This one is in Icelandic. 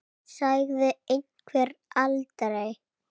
Sagði einhver aldrei?